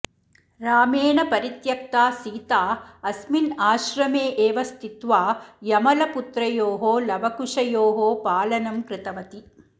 रामेण परित्यक्ता सीता अस्मिन् आश्रमे एव स्थित्वा यमलपुत्रयोः लवकुशयोः पालनं कृतवती